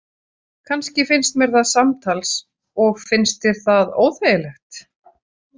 Kannski finnst mér það samtals Og finnst þér það óþægilegt?